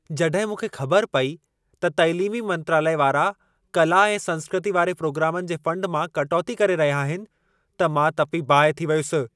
जॾहिं मूंखे ख़बर पेई त तालीमी मंत्रालय वारा कला ऐं संस्कृती वारे प्रोग्रामनि जे फंड मां कटौती करे रहिया आहिनि, त मां तपी बाहि थी वियुसि।